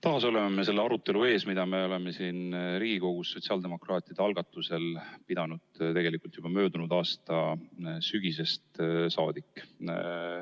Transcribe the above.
Taas peame seda arutelu, mida me oleme siin Riigikogus sotsiaaldemokraatide algatusel pidanud tegelikult juba möödunud aasta sügisest saadik.